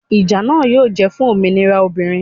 Ìjà náà yóò jẹ́ fún òmìnira obìnrin